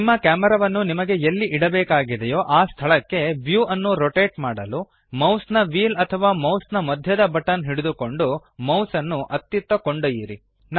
ನಿಮ್ಮ ಕ್ಯಾಮೆರಾವನ್ನು ನಿಮಗೆ ಎಲ್ಲಿ ಇಡಬೇಕಾಗಿದೆಯೋ ಆ ಸ್ಥಳಕ್ಕೆ ವ್ಯೂ ಅನ್ನು ರೊಟೇಟ್ ಮಾಡಲು ಮೌಸ್ನ ವ್ಹೀಲ್ ಅಥವಾ ಮೌಸ್ ನ ಮಧ್ಯದ ಬಟನ್ ಹಿಡಿದುಕೊಂಡು ಮೌಸ್ ಅನ್ನು ಅತ್ತಿತ್ತ ಕೊಂಡೊಯ್ಯಿರಿ